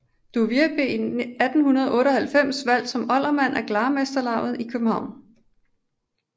Duvier blev i 1898 valgt som oldermand af Glarmesterlavet i København